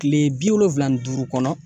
Kile bi wolonfila ni duuru kɔnɔ